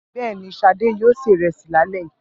Bẹ́ẹ̀ ni, Ṣadé yóò se ìrẹsì lálẹ́ yìí.